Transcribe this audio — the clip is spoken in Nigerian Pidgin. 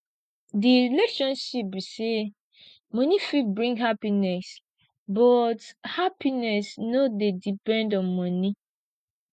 di relationship be say money fit bring happiness but happiness no dey depend on money